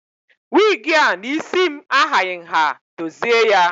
Wigi a na isi m ahaghị nha, dozie ya!